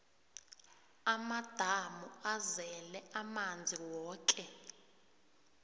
amadamu azele amanzi woke